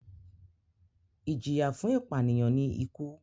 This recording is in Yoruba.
Ijiya fun ipaniyan ni iku.